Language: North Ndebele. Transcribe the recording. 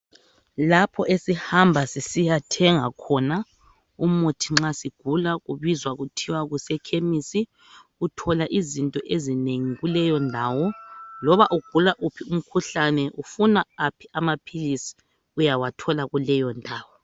Lapho esihamba sisiyathenga khona umuthi nxa sigula kubizwa kuthiwa kuse khemisi uthola izinto ezinengi kuleyondawo. Loba ugula wuphi umkhuhlane ufuna aphi amaphilisi uyawathola kuleyondawo.